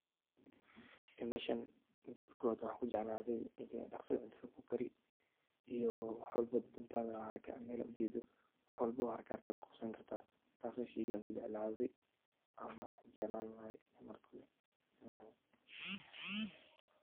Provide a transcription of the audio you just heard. Meshan mida kobad waxan kujeclade dhaqsi cuntada kukaari iyo wax walbo dantana haraka mel ad ujeedo wax walbo harakaharaka ayad kuqabsan karta taas way sheygan kujeclaaday ama jeclan lahay marka kobad